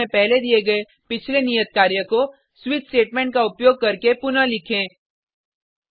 इस ट्यूटोरियल में पहले दिये गये पिछले नियत कार्य को स्विच स्टेटमेंट का उपयोग करके पुनः लिखें